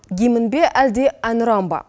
гимн бе әлде әнұран ба